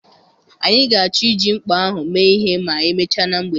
Anyị ga-achọ iji mkpa ahụ mee ihe ma emechaa na mgbede